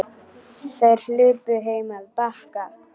Þær hlupu heim á Bakka.